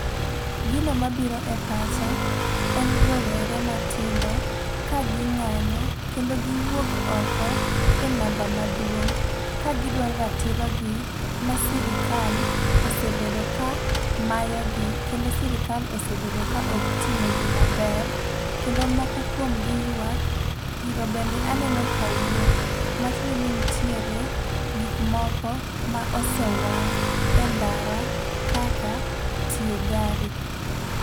Gino mabiro e pacha, en rowere matindo kaging'anyo kendo giwuok oko e namba maduong', ka gidwaro ratirogi ma sirikal osebedo ka mayogi, kendo sirikal osebedo ka ok tinegi maber. Kendo moko kuomgi ywak, iro bende aneno ka wuok. Matiende ni nitiere gik moko ma osewang' e ndara kaka tie gari.